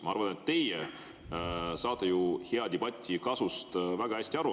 Ma arvan, et teie saate hea debati kasust väga hästi aru.